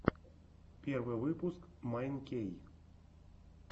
первый выпуск майн кей